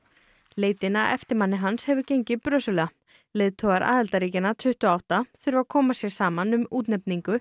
leitin að eftirmanni hans hefur gengið brösulega leiðtogar aðildarríkjanna tuttugu og átta þurfa að koma sér saman um útnefningu